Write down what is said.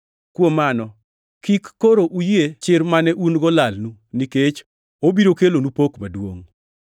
Kuom mano, kik koro uyie chir mane un-go lalnu, nikech obiro kelonu pok maduongʼ.